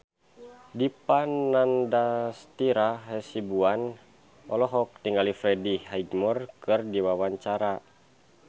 Dipa Nandastyra Hasibuan olohok ningali Freddie Highmore keur diwawancara